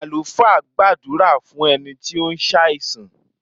Àlùfáà gbàdúrà fún ẹni tí ó ń ṣàìsàn.